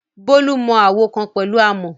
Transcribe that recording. Bolu mọ àwo kan pẹ̀lú àmọ̀.